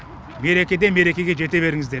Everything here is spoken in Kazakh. мерекеден мерекеге жете беріңіздер